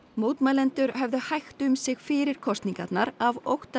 mótmælendur höfðu hægt um sig fyrir kosningarnar af ótta